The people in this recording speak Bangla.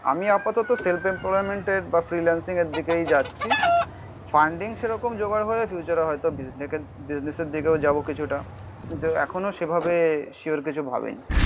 আমি আপাতত সেলফ এমপ্লয়ি এর বা ফ্রিলান্সিং এর দিকেই যাচ্ছি. ফান্ডিং সেরকম জোগাড় হয়ে ফিউচার হয়তো বিজনেস দিকেও যাবো কিছুটা এখনো সেভাবে সিওর কিছু ভাবেনি.